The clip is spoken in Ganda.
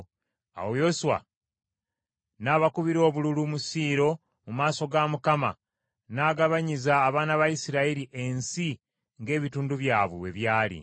Awo Yoswa n’abakubira obululu mu Siiro mu maaso ga Mukama n’agabanyiza abaana ba Isirayiri ensi ng’ebitundu byabwe bwe byali.